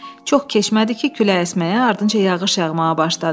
Çox keçmədi ki, külək əsməyə, ardınca yağış yağmağa başladı.